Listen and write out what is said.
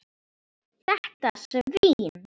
Þetta svín.